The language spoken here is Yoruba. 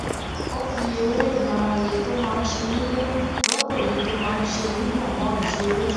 ó fi eré ìmárale tó máa ń ṣe nílé rópò èyí tó máa ń ṣe ní gbòngàn ìṣeré